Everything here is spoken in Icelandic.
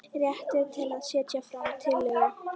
Réttur til að setja fram tillögu.